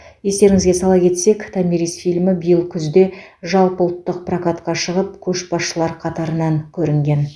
естеріңізге сала кетсек томирис фильмі биыл күзде жалпыұлттық прокатқа шығып көшбасшылар қатарынан көрінген